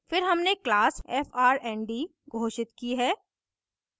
फिर हमने class frnd घोषित की है